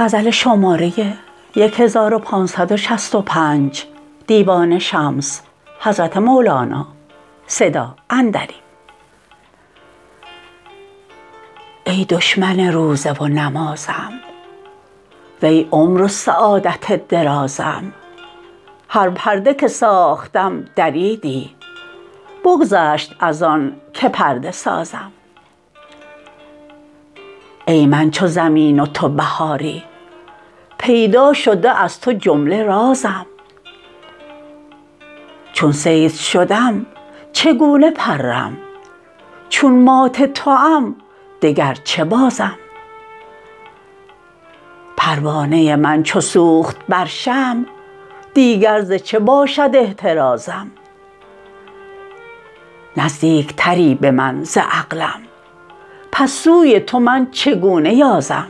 ای دشمن روزه و نمازم وی عمر و سعادت درازم هر پرده که ساختم دریدی بگذشت از آنک پرده سازم ای من چو زمین و تو بهاری پیدا شده از تو جمله رازم چون صید شدم چگونه پرم چون مات توام دگر چه بازم پروانه من چو سوخت بر شمع دیگر ز چه باشد احترازم نزدیکتری به من ز عقلم پس سوی تو من چگونه یازم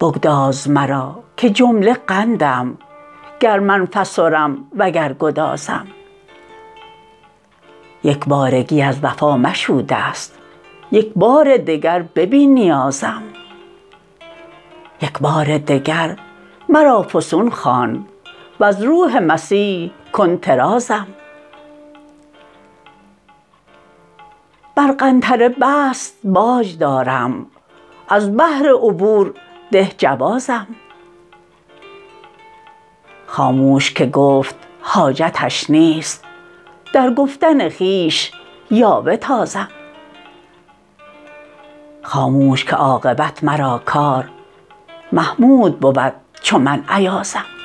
بگداز مرا که جمله قندم گر من فسرم وگر گدازم یک بارگی از وفا مشو دست یک بار دگر ببین نیازم یک بار دگر مرا فسون خوان وز روح مسیح کن طرازم بر قنطره بست باج دارم از بهر عبور ده جوازم خاموش که گفت حاجتش نیست در گفتن خویش یاوه تازم خاموش که عاقبت مرا کار محمود بود چو من ایازم